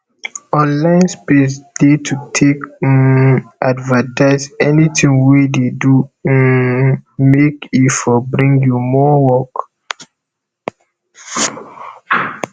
online space de to take um advertise anything wey de do um make e for bring you more work